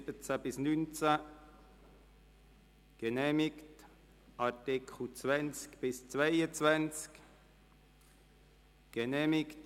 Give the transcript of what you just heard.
Das Gesetz ist bis zum Zeitpunkt des Inkrafttretens eines entsprechenden Bundesgesetzes zu befristen.